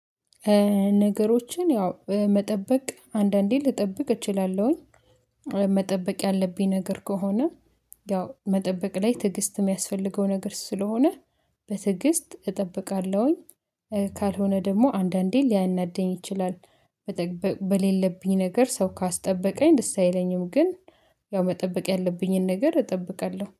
ነገሮችን ያው መጠበቅ አንዳንዴ ልጠብቅ እችላለሁኝ። መጠበቅ ያለብኝ ነገር ከሆነ ያው መጠበቅ ላይ ትዕግስት የሚያስፈልገው ነገር ስለሆነ በትዕግስት እጠብቃለሁኝ። ካልሆነ ደግሞ አንዳንዴ ሊያናደኝ ይችላል። በሌለብኝ ነገር ሰው ካስጠበቀኝ ደስ አይለኝም። ግን ያው መጠበቅ ያለብኝን ነገር እጠብቃለሁ